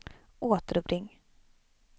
återuppring